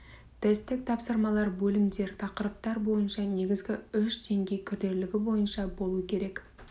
тесттік тапсырмалар бөлімдер тақырыптар бойынша және негізгі үш деңгей күрделілігі бойынша болу керек